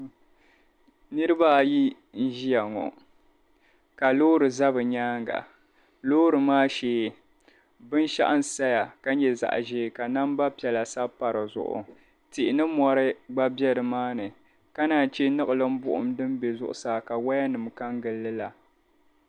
Niriba ayi n-ʒiya ŋo ka loori za bɛ nyaanga loori maa shee binshɛɣu n-saya ka nya zaɣ'ʒee ka namba piɛla sabi pa di zuɣu tihi ni mɔri gba be nimaani ka naanyi chr niɣilin'buɣum din be zuɣusaa ka wayanim' ka n-gili la.